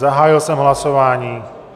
Zahájil jsem hlasování.